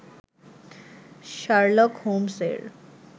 Sherlock হোমস-এর